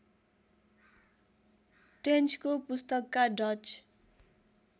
टेन्चको पुस्तकका डच